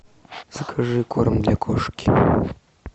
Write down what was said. закажи корм для кошки